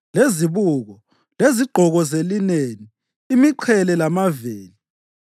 lezibuko, lezigqoko zelineni, imiqhele lamaveli.